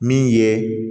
Min ye